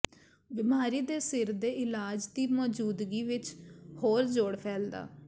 ਬਿਮਾਰੀ ਦੇ ਸਿਰ ਦੇ ਇਲਾਜ ਦੀ ਮੌਜੂਦਗੀ ਵਿੱਚ ਹੋਰ ਜੋਡ਼ ਫੈਲਦਾ